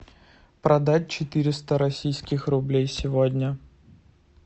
продать четыреста российских рублей сегодня